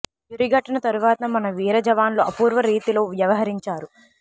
యురి ఘటన తరువాత మన వీర జవాన్లు అపూర్వ రీతిలో వ్యవహరించారు